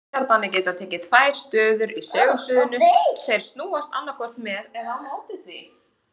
Vetniskjarnarnir geta tekið tvær stöður í segulsviðinu, þeir snúast annaðhvort með eða á móti því.